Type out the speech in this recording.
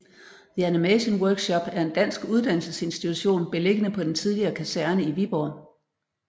The Animation Workshop er en dansk uddannelsesinstitution beliggende på den tidligere kaserne i Viborg